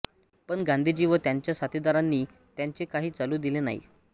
पण गांधीजी व त्यांच्या साथीदारांनी त्यांचे काही चालू दिले नाही